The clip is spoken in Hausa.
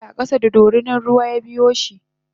yafadi a kasa da dorinan ruwa yabiyoshi